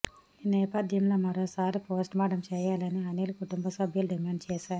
ఈ నేపథ్యంలో మరోసారి పోస్టుమార్టం చేయాలని అనీల్ కుటుంబ సభ్యులు డిమాండ్ చేశారు